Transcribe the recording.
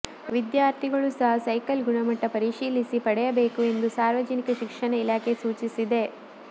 ವಿದ್ಯಾರ್ಥಿಗಳು ಸಹ ಸೈಕಲ್ ಗುಣಮಟ್ಟ ಪರಿಶೀಲಿಸಿ ಪಡೆಯಬೇಕು ಎಂದು ಸಾರ್ವಜನಿಕ ಶಿಕ್ಷಣ ಇಲಾಖೆ ಸೂಚಿಸಿದೆ